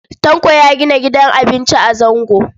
Tanko ya gina gidan abinci a Zango.